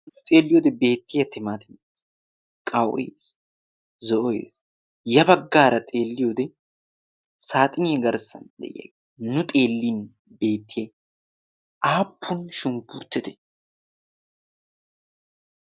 xeelliyoodi beettiya timaatiimee qawees zo'ees. ya baggaara xeelliyoodi saaxinia garssan de7iyaa nu xeellin beettiya aappun shunkurttete?